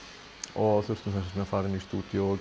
og þurftum þess vegna að fara inn í stúdíó